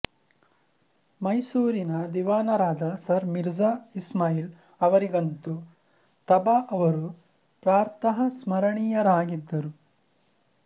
ಮೈಸೂರಿನ ದಿವಾನರಾದ ಸರ್ ಮಿರ್ಜಾ ಇಸ್ಮಾಯಿಲ್ ಅವರಿಗಂತೂ ತಬಾ ಅವರು ಪ್ರಾತಃಸ್ಮರಣೀಯರಾಗಿದ್ದರು